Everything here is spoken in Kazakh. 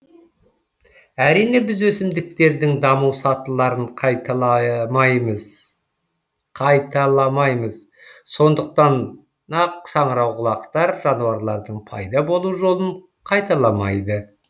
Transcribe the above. әрине біз өсімдіктердің даму сатыларын қайталамаймыз сондықтан нақ саңырауқұлақтар жануарлардың пайда болу жолын қайталамайды